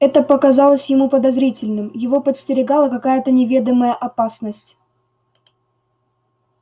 это показалось ему подозрительным его подстерегала какая то неведомая опасность